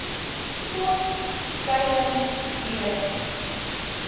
kos skuiling klere